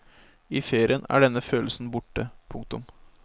I ferien er denne følelsen borte. punktum